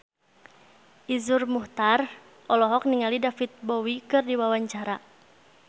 Iszur Muchtar olohok ningali David Bowie keur diwawancara